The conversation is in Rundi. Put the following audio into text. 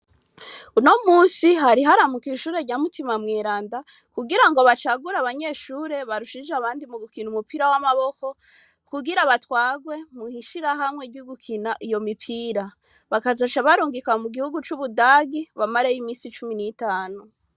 Uno musi hari haramukwe ishure rya mutima mweranda kugira ngo bacagura abanyeshure barushije abandi mu gukina umupira w'amaboko kugira batwagwe muhishira hamwe ry'ugukina iyo mipira bakazasha barungika mu gihugu c'ubudagi bamareyo imisi cumi n'itanu.